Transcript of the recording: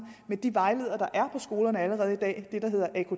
med de vejledere der er skolerne allerede i dag dem der hedder af